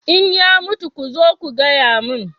in ya mutu ku zo ku gaya min